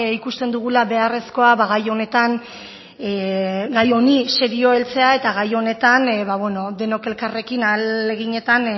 ikusten dugula beharrezkoa gai honetan gai honi serio heltzea eta gai honetan denok elkarrekin ahaleginetan